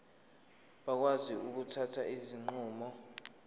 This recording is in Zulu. bakwazi ukuthatha izinqumo